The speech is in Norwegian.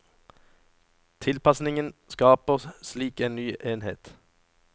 Tilpasningen skaper slik en ny enhet.